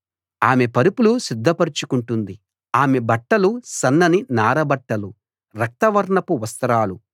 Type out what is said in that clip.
ఆమె పరుపులు సిద్ధపరచుకుంటుంది ఆమె బట్టలు సన్నని నారబట్టలు రక్తవర్ణపు వస్త్రాలు